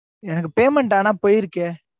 எனக்கு payment ஆனா, போயிருக்கே.